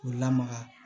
K'u lamaga